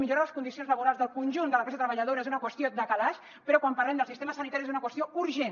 millorar les condicions laborals del conjunt de la classe treballadora és una qüestió de calaix però quan parlem del sistema sanitari és una qüestió urgent